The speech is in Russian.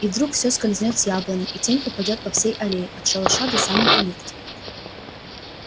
и вдруг все скользнёт с яблони и тень упадёт по всей аллее от шалаша до самой калитки